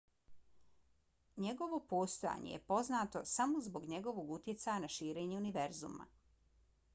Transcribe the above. njegovo postojanje je poznato samo zbog njegovog utjecaja na širenje univerzuma